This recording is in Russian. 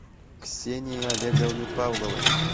ксении олеговны павловой